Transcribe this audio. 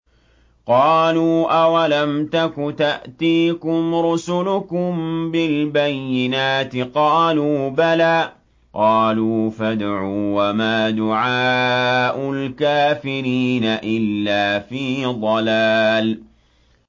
قَالُوا أَوَلَمْ تَكُ تَأْتِيكُمْ رُسُلُكُم بِالْبَيِّنَاتِ ۖ قَالُوا بَلَىٰ ۚ قَالُوا فَادْعُوا ۗ وَمَا دُعَاءُ الْكَافِرِينَ إِلَّا فِي ضَلَالٍ